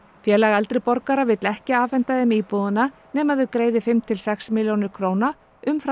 félag eldri borgara vill ekki afhenda þeim íbúðina nema þau greiði fimm til sex milljónir króna umfram